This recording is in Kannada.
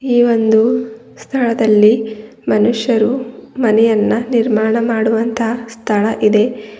ಈ ಒಂದು ಸ್ಥಳದಲ್ಲಿ ಮನುಷ್ಯರು ಮನೆಯನ್ನ ನಿರ್ಮಾಣ ಮಾಡುವಂತ ಸ್ಥಳ ಇದೆ.